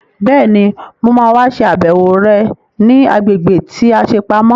Bẹ́ẹ̀ni, mo ma wá ṣe àbẹ̀wò rẹ̀ ní agbègbè tí a ṣe pamọ́